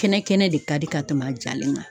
Kɛnɛ kɛnɛ de ka di ka tɛmɛ a jalen kan.